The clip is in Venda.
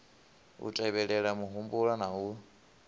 u tevhelela muhumbulo na u